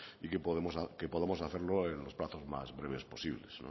y que podamos hacerlo en los plazos más breves posibles